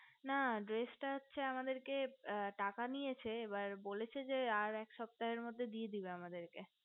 না dress টা হচ্ছে আমাদের কে টাকা নিয়েছে এবার বলেছে যে আর এক সপ্তাহের মধ্যে দিয়ে দেবে আমাদেরকে